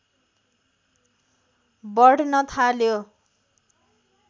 बढ्न थाल्यो